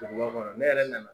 Duguba kɔnɔ ne yɛrɛ nana